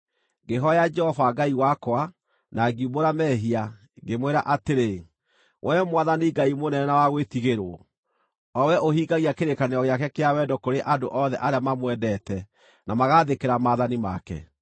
Ngĩhooya Jehova Ngai wakwa, na ngiumbũra mehia, ngĩmwĩra atĩrĩ: “Wee Mwathani Ngai mũnene na wa gwĩtigĩrwo, o Wee ũhingagia kĩrĩkanĩro gĩake kĩa wendo kũrĩ andũ othe arĩa mamwendete na magaathĩkĩra maathani make,